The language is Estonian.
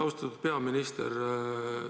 Austatud peaminister!